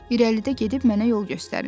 İrəlidə gedib mənə yol göstərin.